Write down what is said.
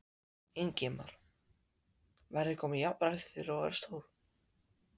Ingimar: Verður komið jafnrétti þegar þú verður stór?